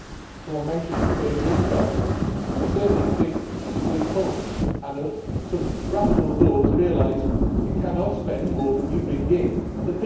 Someone mentioned a complete restart. I certainly think a complete halt and some rational thought to realise that you cannot spend more than you bring in.